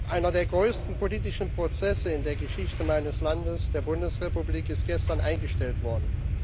Einer der größten politischen Prozesse in der Geschichte meines Landes, der Bundesrepublik Deutschland, ist gestern eingestellt worden.